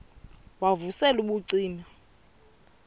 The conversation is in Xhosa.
wav usel ubucima